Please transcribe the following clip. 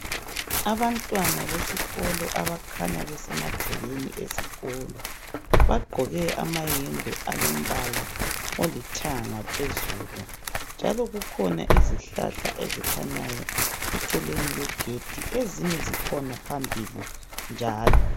Abantwana besikolo abakhanya besemagcekeni esikolo bagqoke amayembe alombala olithanga phezulu njalo kukhona izihlahla ezikhanyayo eceleni kwegedi ezinye zikhona phambili njalo